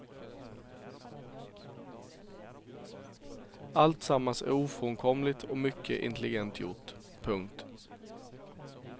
Alltsammans är ofrånkomligt och mycket intelligent gjort. punkt